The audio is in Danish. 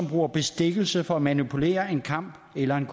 bruger bestikkelse for at manipulere en kamp eller en